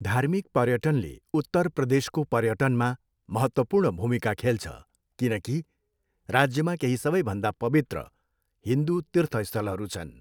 धार्मिक पर्यटनले उत्तर प्रदेशको पर्यटनमा महत्त्वपूर्ण भूमिका खेल्छ किनकि राज्यमा केही सबैभन्दा पवित्र हिन्दू तीर्थस्थलहरू छन्।